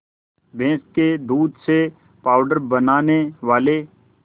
भैंस के दूध से पावडर बनाने वाले